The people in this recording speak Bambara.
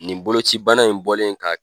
Nin boloci bana in bɔlen ka